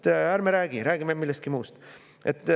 Ärme räägime sellest, räägime millestki muust.